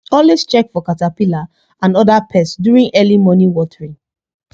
always check for caterpillar and other pest during early morning watering